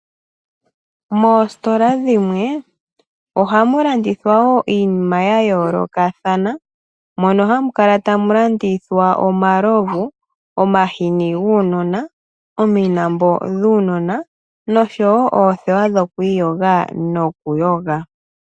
Moositola dhimwe ohamu landithwa wo iinima ya yoolokathana, mono hamu kala tamu landithwa omalovu, omahini nomilambo dhuunona, noshowo oothewa dhokwiiyoga nokuyoga.